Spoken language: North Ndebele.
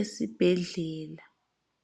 esibhedlela.